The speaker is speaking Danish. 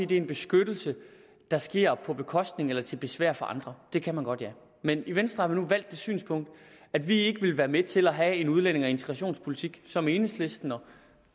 det er en beskyttelse der sker på bekostning af eller til besvær for andre det kan man godt men i venstre nu indtaget det synspunkt at vi ikke vil være med til at have en udlændinge og integrationspolitik som den enhedslisten